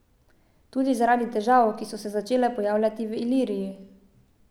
Tudi zaradi težav, ki so se začele pojavljati v Iliriji.